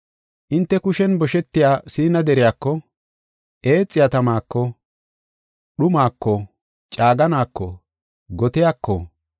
Hinte kushen boshetiya Siina deriyako, eexiya tamaako, dhumaako, caaganaako, gotiyaako,